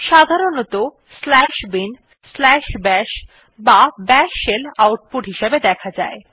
সাধারণতঃ binbash বা bash shell output হিসাবে দেখা যায়